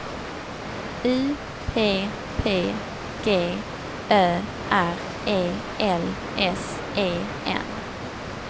U P P G Ö R E L S E N